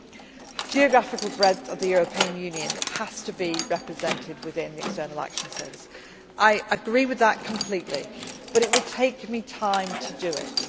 Action Service. The geographical breadth of the European Union has to be represented within the External Action Service. I agree with that completely, but it will take